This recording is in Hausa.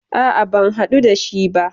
A'a, ban hadu da shi ba ba.